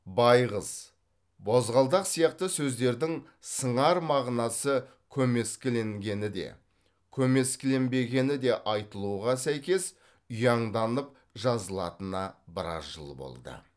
байғыз бозғалдақ сияқты сөздердің сыңар мағынасы көмескіленгені де көмескіленбегені де айтылуға сәйкес ұяңданып жазылатынына біраз жыл болды